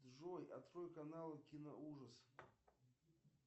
джой открой канал киноужас